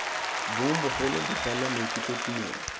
bong bogolo bogole maikutlo tumelo